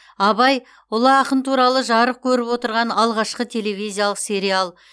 абай ұлы ақын туралы жарық көріп отырған алғашқы телевизиялық сериал